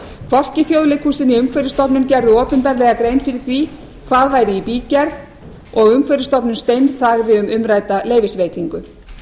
hvorki þjóðleikhúsið né umhverfisstofnun gerðu opinberlega grein fyrir því hvað væri í bígerð og umhverfisstofnun steinþagði um umrædda leyfisveitingu